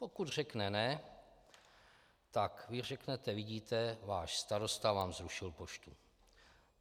Pokud řekne ne, tak vy řeknete: Vidíte, váš starosta vám zrušil poštu.